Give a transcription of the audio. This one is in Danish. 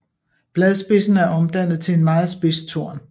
Bladspidsen er omdannet til en meget spids torn